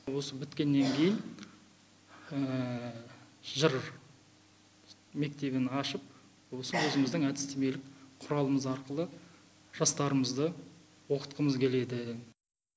осы біткеннен кейін жыр мектебін ашып осы өзіміздің әдістемелік құралымыз арқылы жастарымызды оқытқымыз келеді